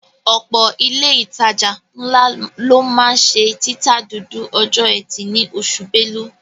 Ọ̀pọ̀ ilé ìtajà ńlá ló máa ń ṣe títa dúdú ọjọ́ ẹtì ní oṣù Belú